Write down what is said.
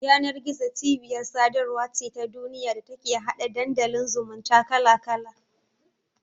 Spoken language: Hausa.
Yanar-gizo cibiyar sadarwa ce ta duniya da take hada Dandalin zumunta kala-kala.